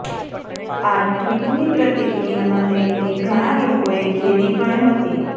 આ ટ્વિટની પ્રતિક્રિયામાં તેણીને ઘણાં લોકોએ ધેરી પણ હતી